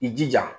I jija